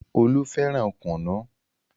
Olú fẹ́ràn kùnú.